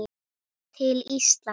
til Íslands?